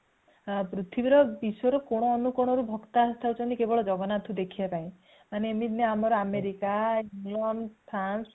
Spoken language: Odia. ପୃଥିବୀ ର ବିଶ୍ଵ ରୁ କୋଣ ଅଣୁକୋଣ କୁ ଭକ୍ତ ଆସିଯାଉଛନ୍ତି କେବଳ ଜଗନ୍ନାଥଙ୍କୁ ଦେଖିବା ପାଇଁ ମାନେ ଏମିତି ନାଇଁ ଆମର ଆମେରିକା ଇଂଲଣ୍ଡ